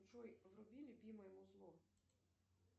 джой вруби любимое музло